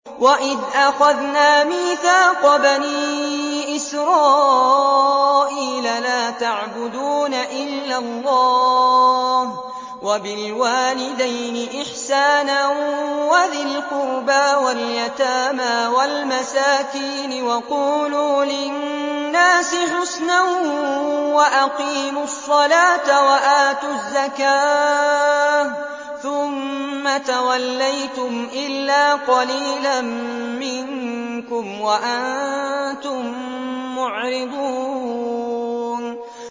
وَإِذْ أَخَذْنَا مِيثَاقَ بَنِي إِسْرَائِيلَ لَا تَعْبُدُونَ إِلَّا اللَّهَ وَبِالْوَالِدَيْنِ إِحْسَانًا وَذِي الْقُرْبَىٰ وَالْيَتَامَىٰ وَالْمَسَاكِينِ وَقُولُوا لِلنَّاسِ حُسْنًا وَأَقِيمُوا الصَّلَاةَ وَآتُوا الزَّكَاةَ ثُمَّ تَوَلَّيْتُمْ إِلَّا قَلِيلًا مِّنكُمْ وَأَنتُم مُّعْرِضُونَ